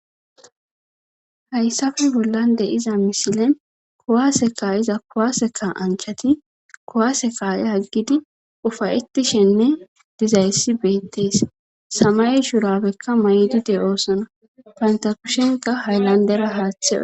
hayssafe bollan de iza misile kowaseka iza kowaseka anchati kowase kaa7e haggidi ufayettishenne dizayssi beettes sama shurabekka may7dide oosona pantakushenka hayllandera haaththewe